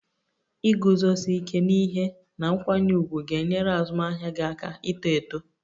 Iguzosi ike n'ihe na nkwanye ùgwù ga-enyere azụmahịa gị aka ito eto